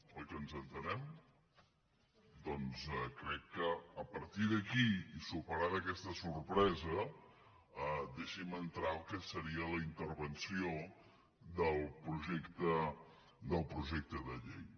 oi que ens entenem doncs crec que a partir d’aquí i superada aquesta sorpresa deixin me entrar en el que seria la intervenció del projecte de llei